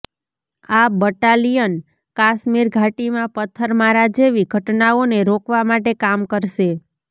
આ બટાલિયન કાશ્મીર ઘાટીમાં પથ્થરમારા જેવી ઘટનાઓને રોકવા માટે કામ કરશે